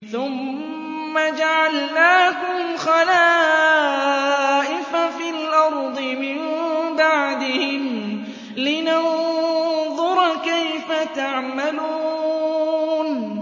ثُمَّ جَعَلْنَاكُمْ خَلَائِفَ فِي الْأَرْضِ مِن بَعْدِهِمْ لِنَنظُرَ كَيْفَ تَعْمَلُونَ